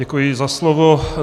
Děkuji za slovo.